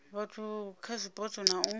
vhathu kha zwipotso na u